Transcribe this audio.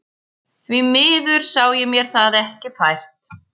Því miður sá ég mér það ekki fært.